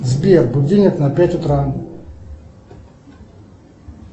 сбер будильник на пять утра